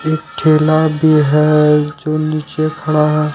ठेला भी है जो नीचे खड़ा है।